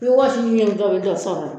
F'i wɔsi ji be dɔ ni dɔ sɔrɔ a la.